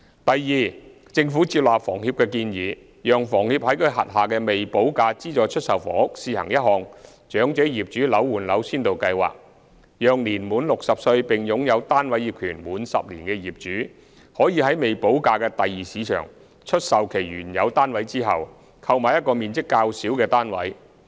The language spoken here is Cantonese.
第二，政府接納房協的建議，讓房協在其轄下的未補價資助出售房屋試行一項"長者業主樓換樓先導計劃"，讓年滿60歲並擁有單位業權滿10年的業主，可在未補價的第二市場出售其原有單位後，購買一個面積較小的單位。